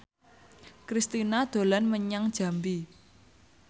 Kristina dolan menyang Jambi